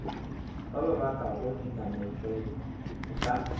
ba bakago dinamanatšeo o ka